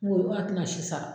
ko a tɛna si sara